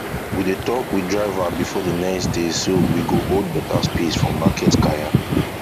we dey talk with driver before d next day so we go hold better space for market kaya